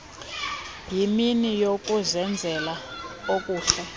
yimini yokuzenzela okuhle